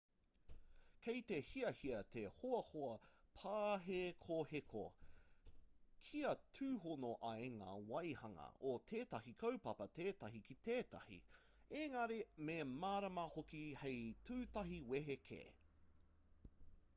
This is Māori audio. kei te hiahia te hoahoa pāhekoheko kia tūhono ai ngā waehanga o tētahi kaupapa tētahi ki tētahi engari me mārama hoki hei tūtahi wehe kē